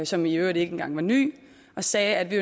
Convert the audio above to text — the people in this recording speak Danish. som i øvrigt ikke engang var ny og sagde at vi